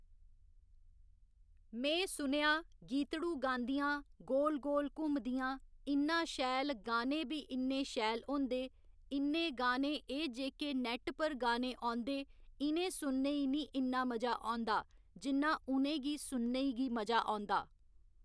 में सुनेआ गीतड़ू गांदियां गोल गोल घुमदियां इ'न्ना शैल गाने बी इ'न्नै शैल होंदे इ'न्ने गाने एह् जेह्‌के नेट पर गाने औंदे इ'नें सुनने ई निं इ'न्ना मजा औंदा जि'न्ना उ'नेंगी सुनने गी मजा औंदा